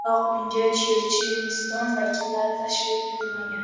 Biroq unga Checheniston vakillari tashrif buyurmagan.